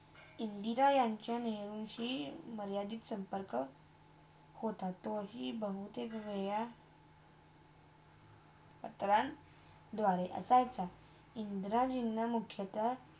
इंदिरा यांचा नेहरूची मर्यादित संपर्क होता. तो ही बहुती घड्या सकलान दुवारे आता सुदधा इंदिरजिना मुख्याता.